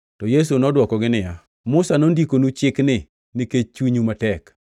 Yesu nodwokogi niya, “Musa nondikonu chikni nikech chunyu matek.